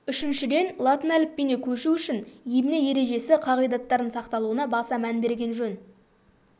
үшіншіден латын әліпбиіне көшу үшін емле ережесі қағидаттарының сақталуына баса мән берген жөн